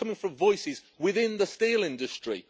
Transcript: This is coming from voices within the steel industry.